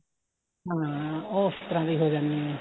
ਹਾਂ ਉਹ ਉਸ ਤਰ੍ਹਾਂ ਦੇ ਹੋ ਜਾਣੇ ਏ